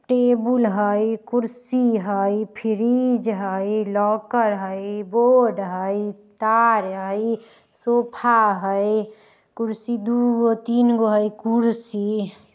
टेबुल हई कुर्सी हई फिरीज हई लॉकर हई बोर्ड हई तार हई सोफा हई कुर्सी दुगो-तीनगो हई कुर्सी --